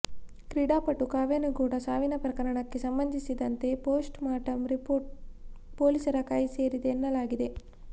ಕ್ರೀಡಾಪಟು ಕಾವ್ಯ ನಿಗೂಢ ಸಾವಿನ ಪ್ರಕರಣಕ್ಕೆ ಸಂಬಂಧಿಸಿದಂತೆ ಪೋಸ್ಟ್ ಮಾರ್ಟಂ ರಿಪೋರ್ಟ್ ಪೋಲೀಸರ ಕೈ ಸೇರಿದೆ ಎನ್ನಲಾಗಿದೆ